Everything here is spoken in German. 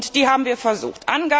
Dies haben wir versucht.